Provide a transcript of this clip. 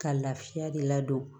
Ka lafiya de ladon